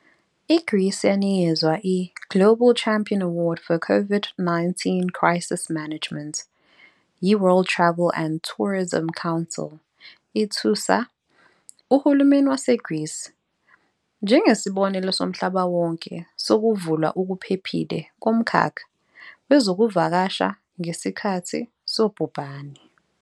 I-Greece yanikezwa i- "Global Champion Award for COVID-19 Crisis Management" yi-World Travel and Tourism Council, "ithusa" uhulumeni waseGreece "njengesibonelo somhlaba wonke sokuvulwa okuphephile komkhakha wezokuvakasha ngesikhathi sobhubhane".